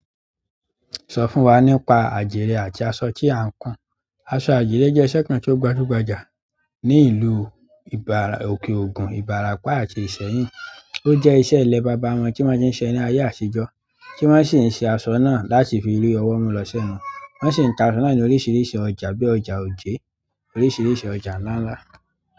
Sọ fún wa nípa àdire àti aṣọ tí à ń kun. Àṣo àdirẹ́ jẹ́ iṣẹ́ kan tí ó gbajúgbajà ní ìlú ìbà òkè ògùn, ìbàràpá àti Ìsẹ́yìn. Ó jẹ́ iṣẹ́ ilé bàbá wọn tí wọ́n ti ń ṣe ní ayé àtijọ́ tí wọ́n sì ń ṣe àṣo náà láti fi rí ọwọ́ mu lọ́ sẹ̀nu. Wọ́n sì ń ta aṣọ náà ní oríṣiríṣi ọjà bíi ọjà Ojé, oríṣiríṣi ọjà ńlá ńlá.